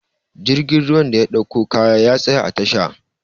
jirgin ruwan da ya ɗauko kaya ya tsaya a tasha